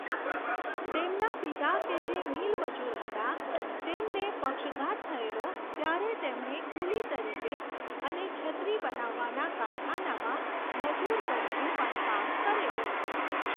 તેમના પિતા કે જે મિલમજૂર હતા તેમને પક્ષઘાત થયેલો ત્યારે તેમણે કૂલી તરીકે અને છત્રી બનાવવાના કારખાનામાં મજૂર તરીકે પણ કામ કરેલું.